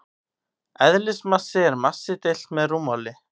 Eðlismassi er massi deilt með rúmmáli.